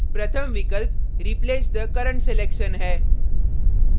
प्रथम विकल्प replace the current selection है